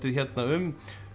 um